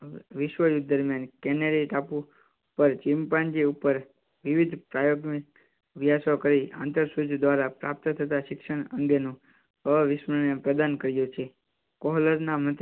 વિશ્વયુદ્ધ દરમિયાન કેનેડીયન ટાપુ પર ચિંપાંજી ઉપર વિવિધ પ્રાયોગિક અભ્યાસ કરી આંતરસૂજ દ્વારા પ્રાપ્ત થતાં શિક્ષણ અંગે નું અવિસ્મરણીય પ્રદાન કર્યું છે.